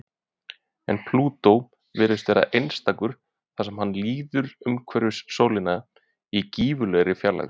En Plútó virðist vera einstakur þar sem hann líður umhverfis sólina í gífurlegri fjarlægð.